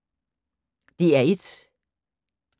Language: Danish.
DR1